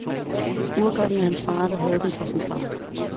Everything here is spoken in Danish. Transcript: Urkokken er fra hans far, der havde den fra sin far.